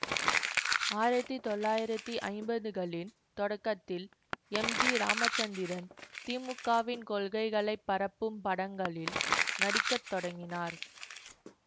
ஆயிரத்தி தொள்ளாயிரத்தி ஐம்பதுகளில் தொடக்கத்தில் எம் ஜி இராமச்சந்திரன் திமுகவின் கொள்கைகளை பரப்பும் படங்களில் நடிக்க தொடங்கினார்